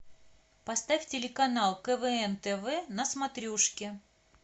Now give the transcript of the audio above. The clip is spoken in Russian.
поставь телеканал квн тв на смотрешке